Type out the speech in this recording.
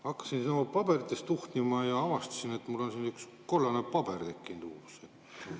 Hakkasin paberites tuhnima ja avastasin, et mul on siia üks uus kollane paber tekkinud.